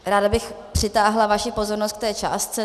Ráda bych přitáhla vaši pozornost k té částce.